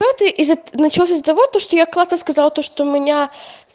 пятый начался из за того то что я когда-то сказала то что у меня